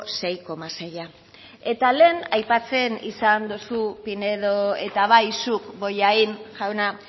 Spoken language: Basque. sei koma seia eta lehen aipatzen izan dozu pinedo eta bai zuk bollain jauna